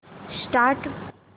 start